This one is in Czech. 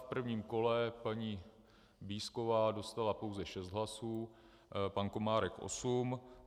V prvním kole paní Bízková dostala pouze šest hlasů, pan Komárek osm.